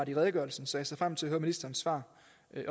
i redegørelsen så jeg ser frem til at høre ministerens svar